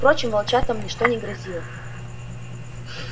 впрочем волчатам ничто не грозило